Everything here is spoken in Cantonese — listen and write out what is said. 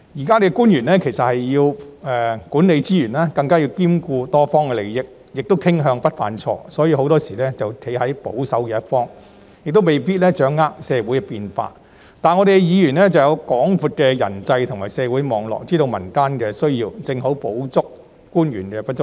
官員現時要管理資源，更要兼顧多方利益，亦傾向不想犯錯，所以很多時會站在保守一方，也未必掌握社會變化；而議員有廣闊的人際及社會網絡，知道民間需要，正好補足官員的不足。